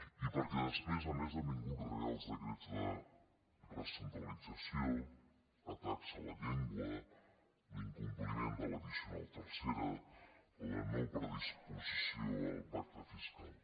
i perquè després a més han vingut reials decrets de recentralització atacs a la llengua l’incompliment de l’addicional tercera la no predisposició al pacte fiscal